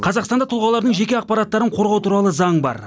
қазақстанда тұлғалардың жеке ақпараттарын қорғау туралы заң бар